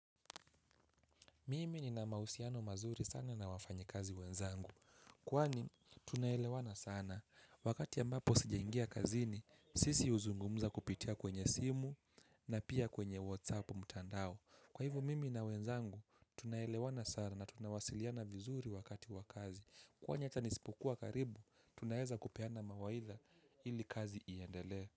Mimi ni na mahusiano mazuri sana na wafanyikazi wenzangu. Kwani tunaelewana sana. Wakati ambapo sijangia kazini sisi huzungumza kupitia kwenye simu na pia kwenye whatsapp mtandao. Kwa hivyo mimi na wenzangu tunaelewana sana na tunawasiliana vizuri wakati wakazi. Kwani ata nisipokuwq karibu tunaeza kupeana mawaidha ili kazi iendelee.